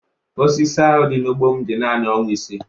Osisi ahụ dị n'ugbo m dị naanị ọnwa ise.